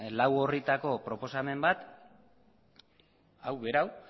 lau orritako proposamen bat hau berau